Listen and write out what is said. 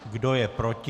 Kdo je proti?